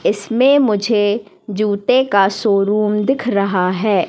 इसमें मुझे जूते का शोरूम दिख रहा है।